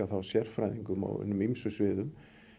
sérfræðingum á hinum ýmsu sviðum